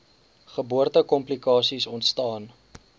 geboorte komplikasies ontstaan